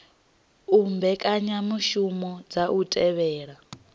u mbekanyamushumo dza u thivhela